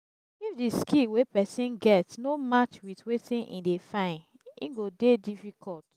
if di skill wey persin get no match with wetin im de find im go de difficult